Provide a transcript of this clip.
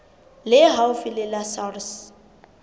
le haufi le la sars